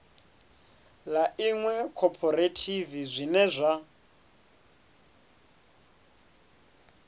ḽa iṅwe khophorethivi zwine zwa